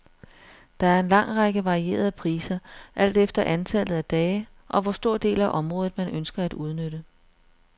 Der er en lang række varierede priser, alt efter antallet af dage, og hvor stor del af området, man ønsker at udnytte.